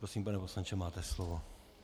Prosím, pane poslanče, máte slovo.